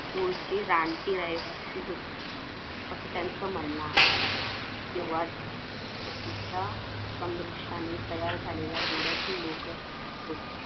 मूळचे रानटी रहिवासी होते असं त्यांचं म्हणणं आहे तेव्हाच त्यांच्या तेव्हा सम्रूश्यानी तयार झालेल्या डोळ्यातील लोक होती.